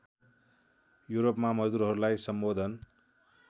युरोपमा मजदुरहरूलाई सम्बोधन